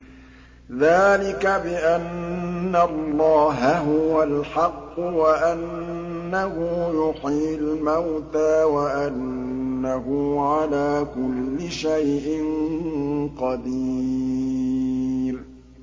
ذَٰلِكَ بِأَنَّ اللَّهَ هُوَ الْحَقُّ وَأَنَّهُ يُحْيِي الْمَوْتَىٰ وَأَنَّهُ عَلَىٰ كُلِّ شَيْءٍ قَدِيرٌ